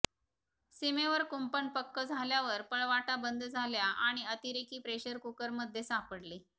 सीमेवर कुंपण पक्कं झाल्यावर पळवाटा बंद झाल्या आणि अतिरेकी प्रेशर कुकरमध्ये सापडले